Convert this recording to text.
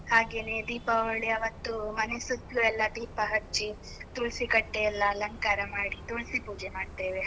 ಹಾಗೇನೇ, ದೀಪಾವಳಿ ಅವತ್ತು ಮನೆ ಸುತ್ಲು ಎಲ್ಲ ದೀಪ ಹಚ್ಚಿ, ತುಳ್ಸಿ ಕಟ್ಟೆ ಎಲ್ಲ ಅಲಂಕಾರ ಮಾಡಿ, ತುಳ್ಸಿ ಪೂಜೆ ಮಾಡ್ತೇವೆ.